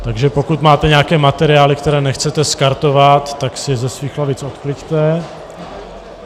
Takže pokud máte nějaké materiály, které nechcete skartovat, tak si je ze svých lavic odkliďte.